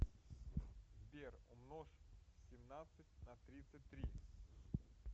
сбер умножь семнадцать на тридцать три